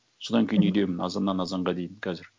содан кейін үйдемін азаннан азанға дейін қазір